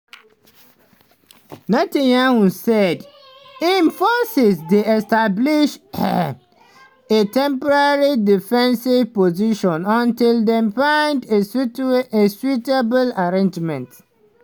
netanyahu say im forces dey establish a "temporary defensive position until dem find a suitable arrangement.